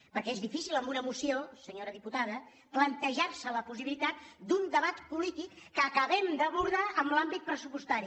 perquè és difícil amb una moció senyora diputada plantejarse la possibilitat d’un debat polític que acabem d’abordar en l’àmbit pressupostari